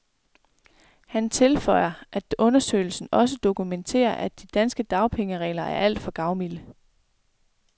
Han tilføjer, at undersøgelsen også dokumenterer, at de danske dagpengeregler er alt for gavmilde.